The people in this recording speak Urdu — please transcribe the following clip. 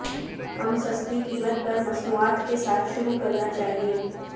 ہم سستی قیمت پر مصنوعات کے ساتھ شروع کرنا چاہیے